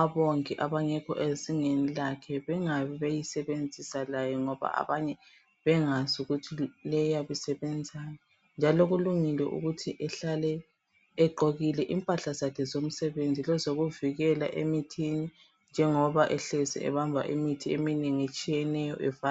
abongi abangekho ezingeni lakhe, bengabi beyisebenzisa layo, ngoba abanye bengazi ukuthi leyi iyabe isebenzani. Njalo kulungile ukuthi ehlale egqokile impahla zakhe zomsebenzi, lezokuvikela emithini, njengoba ehlezi ebamba imithi eminengi etshiyeneyo, evale...